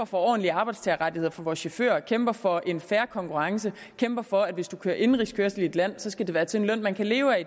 for ordentlige arbejdstagerrettigheder for vores chauffører kæmper for en fair konkurrence kæmper for at hvis man kører indenrigskørsel i et land skal det være til en løn man kan leve